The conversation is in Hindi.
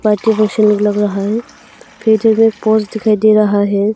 अच्छे लग रहा है में पोस्ट दिखाई दे रहा है।